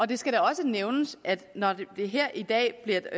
det skal da også nævnes at når det her i dag bliver